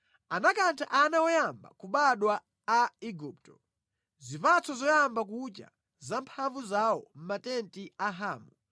Anakantha ana oyamba kubadwa a Igupto, zipatso zoyamba kucha za mphamvu zawo mʼmatenti a Hamu